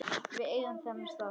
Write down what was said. Við eigum þennan stað